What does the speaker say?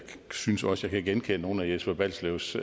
synes også jeg kan genkende nogle af jesper balslevs